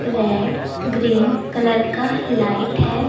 Red green colour का light है।